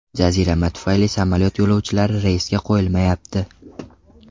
Jazirama tufayli samolyot yo‘lovchilari reysga qo‘yilmayapti.